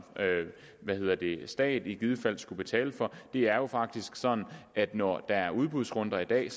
stat i givet fald skulle betale for det er faktisk sådan at når der er udbudsrunder i dag